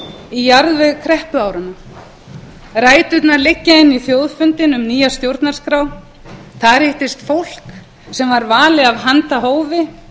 í jarðveg kreppuáranna ræturnar liggja inn í þjóðfundinn um nýja stjórnarskrá þar hittist fólk sem var valið af handahófi